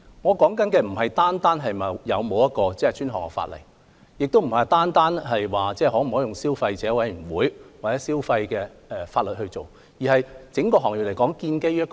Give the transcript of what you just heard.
我所說的，並非單單指是否有專項法例，也不是可否交由消委會或透過消費方面的法例處理，而是整個行業究竟建基於甚麼？